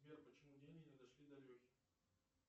сбер почему деньги не дошли до лехи